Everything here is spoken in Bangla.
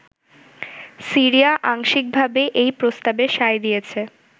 সিরিয়া আংশিকভাবে এই প্রস্তাবে সায় দিয়েছে।